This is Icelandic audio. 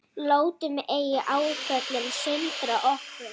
Látum ei áföllin sundra okkur.